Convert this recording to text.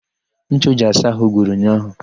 Ncha o ji asa àhụ́ gwụrụ ụnyaahụ.